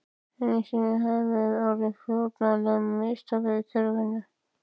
Enn einu sinni höfðum við orðið fórnarlömb mistaka í kerfinu.